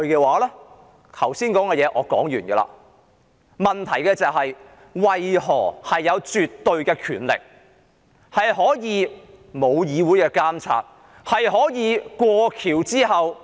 我剛才想說的話已說完，但問題是，為何政府有絕對權力，不受議會監察，在"過橋"後......